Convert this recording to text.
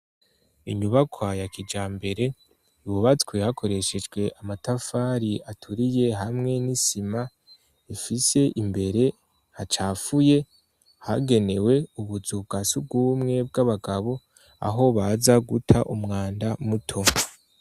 Inyubakwa ya kijambere, yubatswe hakoreshejwe amatafari aturiye hamwe n'isima, ifise imbere hacafuye hagenewe ubuzu bwa surwumwe bw'abagabo aho baza guta umwanda muto.